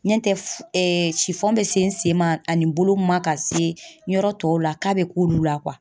Ɲɛntɛ f sifɔn bɛ se n sen ma ani bolo ma ka se yɔrɔ tɔw la k'a bɛ k'olu la